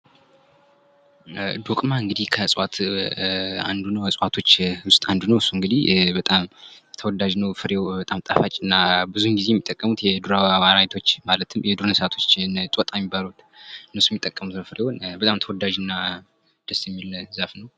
ዶቅማ እንግዲህ ከዕፅዋቶች ውስጥ አንዱ ነው። እሱ እንግዲህ በጣም ተወዳጅ ነው ።ፍሬው በጣም ጣፋጭና ብዙ ጊዜ የሚጠቀሙት የዱር አራዊቶች ማለትም የዱር እንስሳቶች እነዚህ ጦጣ የሚባሉ እነሱ የሚጠቀሙት ሲሆን ፍሬውን እና በጣም ተወዳጅና ደስ የሚል ዛፍ ነው።